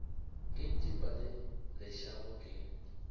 ke ntepa le lešago ke